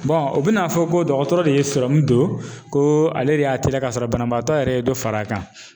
u bɛn'a fɔ ko dɔgɔtɔrɔ de ye sɔrɔmu don ko ale de y'a teliya ka sɔrɔ banabaatɔ yɛrɛ ye dɔ far'a kan.